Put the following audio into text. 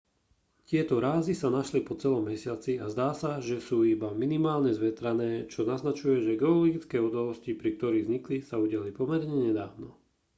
tieto zrázy sa našli po celom mesiaci a zdá sa že sú iba minimálne zvetrané čo naznačuje že geologické udalosti pri ktorých vznikli sa udiali pomerne nedávno